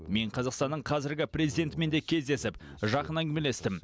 мен қазақстанның қазіргі президентімен де кездесіп жақын әңгімелестім